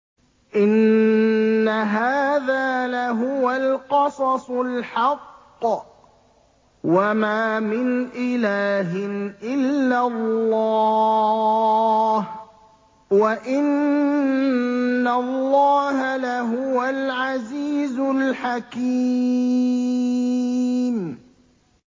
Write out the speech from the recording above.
إِنَّ هَٰذَا لَهُوَ الْقَصَصُ الْحَقُّ ۚ وَمَا مِنْ إِلَٰهٍ إِلَّا اللَّهُ ۚ وَإِنَّ اللَّهَ لَهُوَ الْعَزِيزُ الْحَكِيمُ